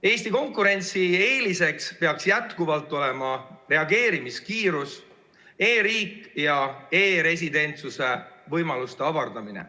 Eesti konkurentsieeliseks peaks jätkuvalt olema reageerimiskiirus, e‑riik ja e‑residentsuse võimaluste avardamine.